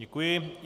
Děkuji.